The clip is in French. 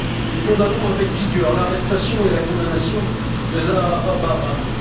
Nous condamnons avec vigueur l'arrestation et la condamnation de Zahra Bahrami.